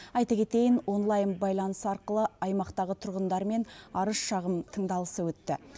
айта кетейін онлайн байланыс арқылы аймақтағы тұрғындармен арыз шағым тыңдалысы өтті